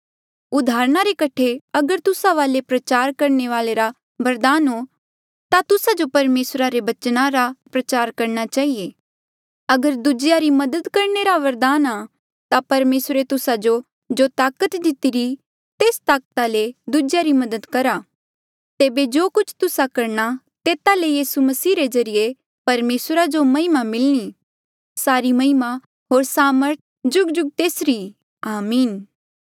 उदाहरणा रे कठे अगर तुस्सा वाले प्रचार करणे रा बरदान हो ता तुस्सा जो परमेसरा रे बचना रा प्रचार करणा चहिए अगर दूजेया री मदद करणे रा वरदान आ ता परमेसरे तुस्सा जो जो ताकत दितिरी तेस ताकता ले दूजेया री मदद करहा तेबे जो कुछ तुस्सा करणा तेता ले यीसू मसीह रे ज्रीए परमेसरा जो महिमा मिलणी सारी महिमा होर सामर्थ जुगजुग तेसरी ई आमीन